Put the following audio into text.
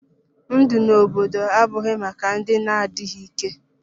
Ndụ n'obodo abụghị maka ndị na-adịghị ike.